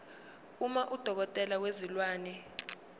uma udokotela wezilwane